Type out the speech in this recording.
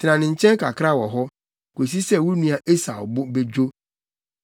Tena ne nkyɛn kakra wɔ hɔ, kosi sɛ wo nua Esau bo bedwo.